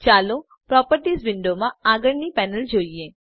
ચાલો પ્રોપર્ટીઝ વિંડોમાં આગળની પેનલ જોઈએ